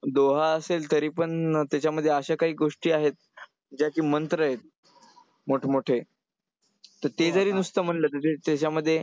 Doha असेल तरीपण त्याच्यामध्ये अशा काही गोष्टी आहेत ज्या की मंत्र आहेत मोठमोठे. तर ते जरी नुसतं म्हंटलं त्याच्यामध्ये